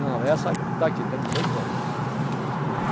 Não, essa que está aqui, tem dezoito anos.